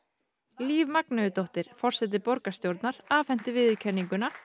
Líf forseti borgarstjórnar afhenti viðurkenninguna